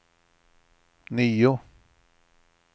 nio